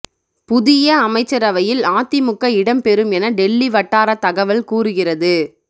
புதிய அமைச்சரவையில் அதிமுக இடம் பெறும் என டெல்லிவட்டாரத் தகவல் கூறுகிறது